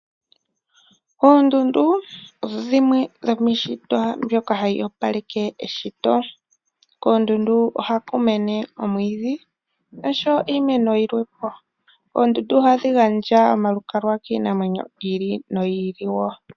Oondundu odho dhimwe dhoomiishitwa mbyoka hadhi opaleke eshito. Koondundu ohakumene omwiidhi osho wo iimeno yilwepo. Oondundu ohadhigandja omalukalwa kiinamwenyo yili nooyili wo.